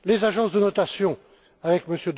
McCarthy les agences de notations,